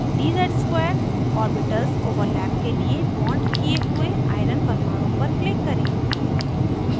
dz ^ 2 orbitals overlap के लिए bonded किये हुए iron परमाणु पर click करें